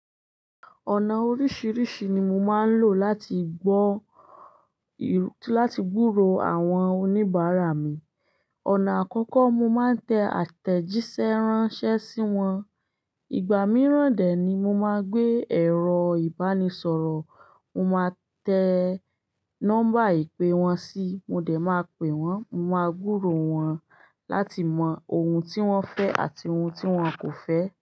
Ọ̀nà oríṣìíríṣìí ni mo máa ń lò láti gbọ́, láti gburò àwọn oníbàárà mi. Ọ̀nà àkọ́kọ́, mo máa ń tẹ àtẹ̀jíṣẹ́ ránṣẹ́ sí wọn. Ìgbà mìíràn dè ni mo máa gbé ẹ̀rọ ìbánisọ̀rọ̀, mo máa tẹ nọ́mbà ìpè wọ́n sí, mo dẹ̀ máa pè wọ́n, mo máa gburò wọn láti mọ ohun tí wọ́n fẹ́ àti ohun tí wọ́n kò fẹ́